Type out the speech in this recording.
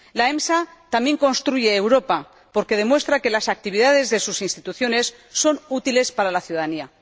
La EMSA también construye Europa, porque demuestra que las actividades de sus instituciones son útiles para la ciudadanía.